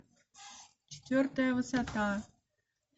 четвертая высота